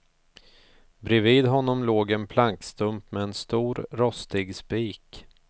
Bredvid honom låg en plankstump med en stor, rostig spik.